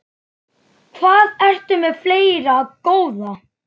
Hvað ertu með fleira, góða?